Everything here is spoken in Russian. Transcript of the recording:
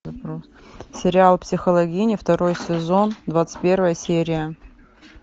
сериал психологини второй сезон двадцать первая серия